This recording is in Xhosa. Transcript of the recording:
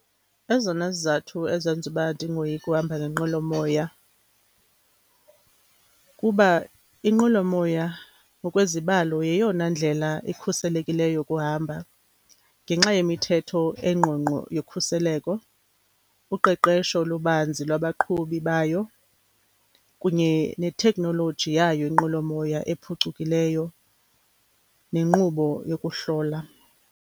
Ezona zizathu ezenza uba ndingoyiki uhamba ngenqwelomoya, kuba inqwelomoya ngokwezibalo yeyona ndlela ikhuselekileyo yokuhamba. Ngenxa yemithetho engqongqo yokhuseleko, uqeqesho lubanzi lwabaqhubi bayo kunye ne-technology yayo inqwelomoya ephucukileyo nenkqubo yokuhlola.